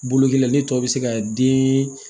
Bologɛlɛya ne tɔ bɛ se ka den